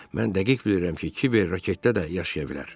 Mən dəqiq bilirəm ki, Kiber raketdə də yaşaya bilər.